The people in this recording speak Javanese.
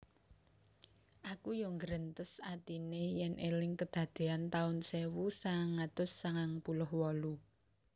Aku yo nggrentes atine yen eling kedadean taun sewu sangang atus sangang puluh wolu